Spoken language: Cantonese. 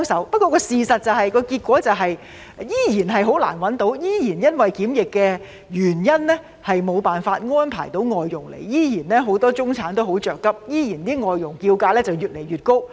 不過，事實上，僱主依然難以聘請外傭，依然因為檢疫的原因而無法安排外傭來港，很多中產人士依然很着急，外傭的叫價依然越來越高。